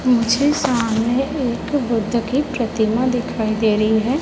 मुझे सामने एक बुद्ध की प्रतिमा दिखाई दे रही है।